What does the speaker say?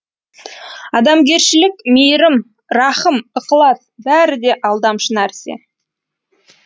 адамгершілік мейірім рахым ықылас бәрі де алдамшы нәрсе